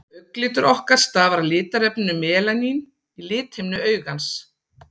augnlitur okkar stafar af litarefninu melaníni í lithimnu augans